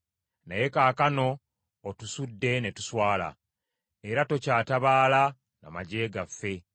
Naye kaakano otusudde ne tuswala; era tokyatabaala na magye gaffe.